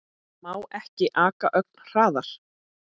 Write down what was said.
Má ekki aka ögn hraðar?